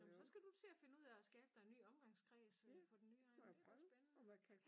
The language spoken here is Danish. Nåh men så skal du til at finde ud at skabe dig en ny omgangskreds øh på den nye egn det bliver spændende